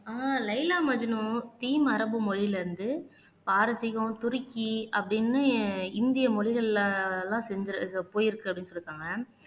ஆஹ் Laila Majnu theme அரபு மொழியிலிருந்து பாரசீகம் துருக்கி அப்படின்னு இந்திய மொழிகளில எல்லாம் செஞ்சி போயிருக்க செஞ்சிருக்காங்க